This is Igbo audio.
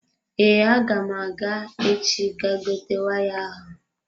Ee, agam aga echi ga gote waya ahụ.